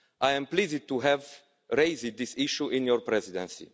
I am pleased to have raised this issue in your Presidency.